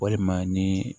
Walima ni